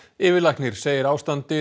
yfirlæknir segir ástandið á